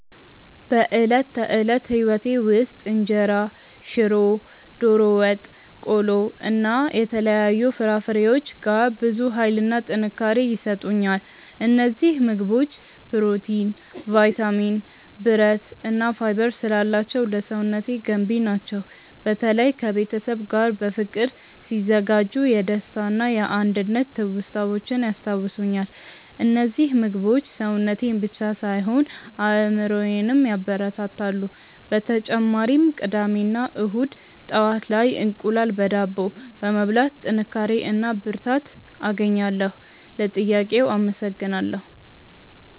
በዕለት ተዕለት ሕይወቴ ውስጥ እንጀራ፣ ሽሮ፣ ዶሮ ወጥ፣ ቆሎ እና የተለያዩ ፍራፍሬዎች ጋር ብዙ ኃይልና ጥንካሬ ይሰጡኛል። እነዚህ ምግቦች ፕሮቲን፣ ቫይታሚን፣ ብረት እና ፋይበር ስላላቸው ለሰውነቴ ገንቢ ናቸው። በተለይ ከቤተሰብ ጋር በፍቅር ሲዘጋጁ የደስታና የአንድነት ትውስታዎችን ያስታውሱኛል። እነዚህ ምግቦች ሰውነቴን ብቻ ሳይሆን አእምሮዬንም ያበረታታሉ። በተጨማሪም ቅዳሜ እና እሁድ ጠዋት ላይ እንቁላል በዳቦ በመብላት ጥንካሬ እና ብርታት አገኛለሁ። ለጥያቄው አመሰግናለሁ።